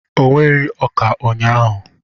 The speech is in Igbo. O wereghị ọka ụnyaahụ.